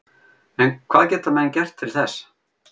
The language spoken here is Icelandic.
En hvað geta menn gert til þess?